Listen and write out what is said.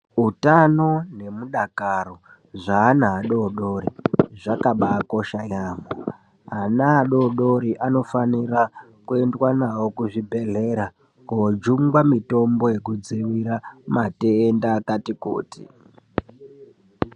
Hutano ne mudakaro zve ana adodori zvakabai kosha yamho ana adodori anofanira ku endwa nawo ku zvibhedhlera ko jungwa mitombo yeku dzivirira matenda akati kuti.